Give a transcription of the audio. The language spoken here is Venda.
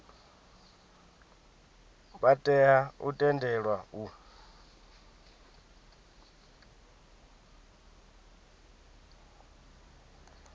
vha tea u tendelwa u